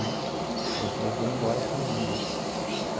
Né aí eu falei, eu vou embora para o Rio.